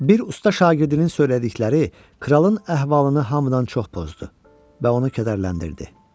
Bir usta şagirdinin söylədikləri kralın əhvalını hamıdan çox pozdu və onu kədərləndirdi.